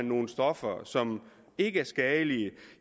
nogle stoffer som ikke er skadelige